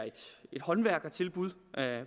et håndværkertilbud